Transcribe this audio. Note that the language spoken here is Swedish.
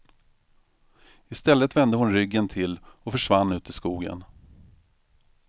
I stället vände hon ryggen till och försvann ut i skogen.